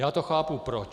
Já to chápu, proč.